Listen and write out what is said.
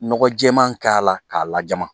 Nɔgɔ jɛɛman k'a la k'a lajama